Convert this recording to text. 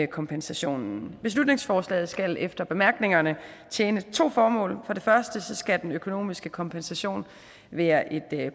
kompensationen beslutningsforslaget skal efter bemærkningerne tjene to formål for det første skal den økonomiske kompensation være et